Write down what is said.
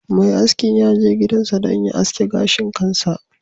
Mai askin ya je gidansa don ya aske gashin kansa